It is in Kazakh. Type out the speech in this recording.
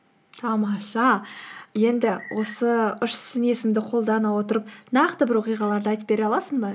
тамаша енді осы үш сын есімді қолдана отырып нақты бір оқиғаларды айтып бере аласың ба